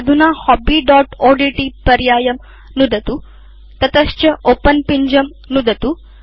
अधुना hobbyओड्ट् पर्यायं नुदतु ततश्च ओपेन पिञ्जं नुदतु